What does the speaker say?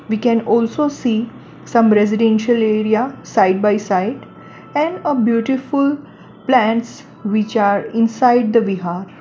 We can also see some residential area side by side and a beautiful plants which are inside the vihar.